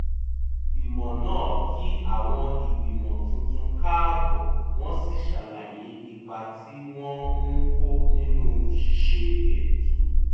ìgbìmọ̀ náà kí àwọn ìgbìmọ̀ tuntun káàbọ̀ wọ́n sì ṣàlàyé ipa tí wọ́n ń kó nínú ṣíṣe ètò